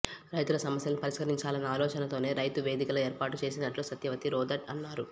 రైతుల సమస్యలను పరిష్కరించాలన్న అలోచతోనే రైతు వేదికలు ఏర్పాటు చేసినట్లు సత్యవతి రాథోడ్ అన్నారు